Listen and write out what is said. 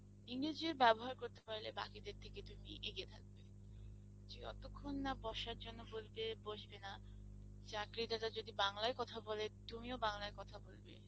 ইংরেজিও বেবহার করতে পারলে তুমি বাকিদের থেকে এগিয়ে থাকতে পারবে যে জতক্ষণ না বসার জন্যে বলবে বসবে না চাকরিদাতা যদি বাংলায় কথা বলে তুমিও বাংলায় কথা বলবে